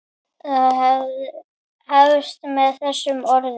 Það hefst með þessum orðum